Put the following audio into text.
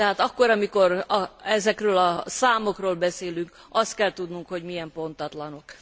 Tehát akkor, amikor ezekről a számokról beszélünk, azt kell tudnunk, hogy milyen pontatlanok.